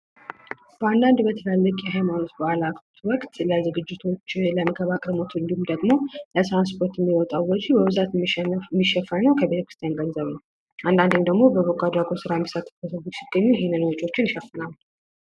በአንዳንድ በትላልቅ የሀይማኖት በአላት ወቅት ለዝግጅቶች ለመንከባከብ እንዲሁም ደግሞ ለትራንስፖርት የሚወጣ ወጪ በብዛት የሚሸፈነው ከቤተክርስቲያን ገንዘብ ነው። አንዳንዴም ደግሞ በበጎ አድራጎት ሲገኝ ይህን ወጪ ይሸፍናል።